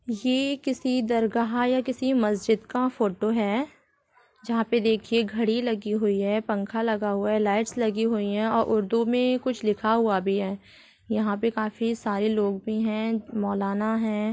ये किसी दरगाह या किसी मस्जिद का फोटो है जहा पे देखिये घडी लगी हुई है पंखा लगा हुआ है लाइट्स लगी हुई है और उर्दू में कुछ लिखा हुआ भी है यहाँ पे काफी सारे लोग भी है मौलाना है।